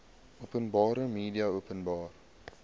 openbare media openbare